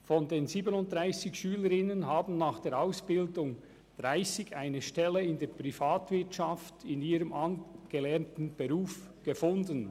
30 von den 37 Schülerinnen haben nach der Ausbildung eine Stelle in ihrem gelernten Beruf in der Privatwirtschaft gefunden.